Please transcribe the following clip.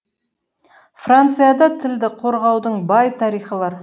францияда тілді қорғаудың бай тарихы бар